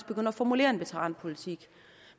begynde at formulere en veteranpolitik